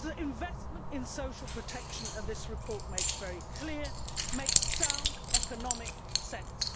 Investment in social protection, as this report makes very clear, makes sound economic sense.